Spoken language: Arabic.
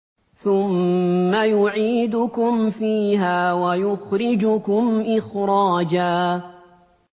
ثُمَّ يُعِيدُكُمْ فِيهَا وَيُخْرِجُكُمْ إِخْرَاجًا